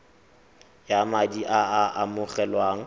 ya madi a a amogelwang